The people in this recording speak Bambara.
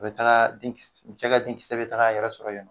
U bɛ taa denkis cɛ ka denkis bɛ ta'a yɛrɛ sɔrɔ ynnɔ